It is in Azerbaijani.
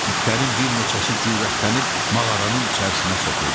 İtlərin bir neçəsi cürətlənib mağaranın içərisinə soxuldu.